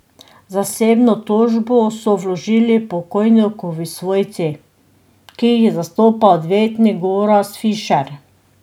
Zasebno tožbo so vložili pokojnikovi svojci, ki jih zastopa odvetnik Gorazd Fišer.